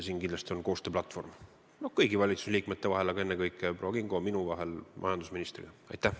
Siin on kindlasti kõigi valitsusliikmete koostööplatvorm, ennekõike on see proua Kingo ja minu koostööplatvorm.